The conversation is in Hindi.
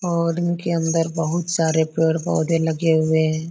और इनके अंदर बहुत सारे पेड़ पौधे लगे हुए हैं।